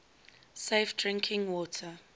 safe drinking water